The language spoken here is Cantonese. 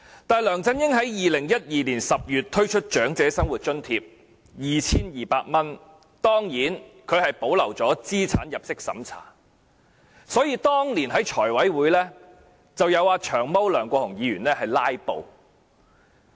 但是，梁振英在2012年10月推出 2,200 元的長者生活津貼時，保留了資產入息審查，所以當年在財務委員會申請撥款時，遭"長毛"梁國雄議員"拉布"。